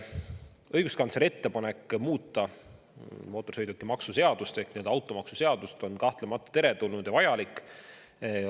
Õiguskantsleri ettepanek muuta mootorsõidukimaksu seadust ehk nii-öelda automaksuseadust on kahtlemata teretulnud ja vajalik.